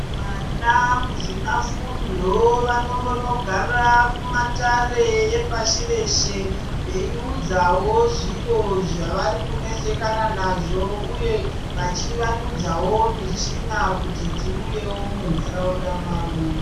Vana muzvina fundo vanombono gara mu matare epashi reshe vei udzawo zviro zvavari kunetsekana nazvo uye vachi wandudzawo mushina kuti dziuyewo mu ndaraunda mawo.